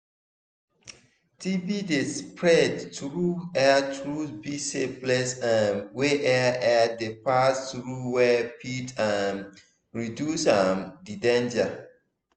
tb dey spread through airtruth be say place um wey air air dey pass through well fit um reduce um the danger